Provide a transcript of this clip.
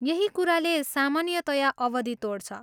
यही कुराले सामान्यतया अवधि तोड्छ।